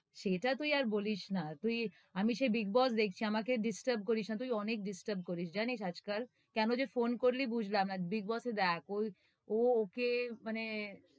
সেটা তুই আর বলিস না তুই, আমি সে বিগ বস দেখছি, আমাকে disturb করিস না তুই অনেক disturb করিস, জানিস আজকাল? কেনো যে ফোন করলি বুঝলাম, আর বিগ বসে দেখ, ওই, ও ওকে মানে,